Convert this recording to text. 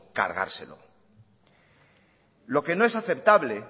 cargárselo lo que no es aceptable